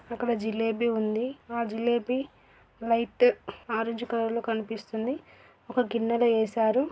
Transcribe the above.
అక్కడ జిలేబి ఉంది. ఆ జిలేబి లైట్ ఆరంజ్ కలర్ లో కనిపిస్తుంది.ఒక గిన్నెలో వేశారు.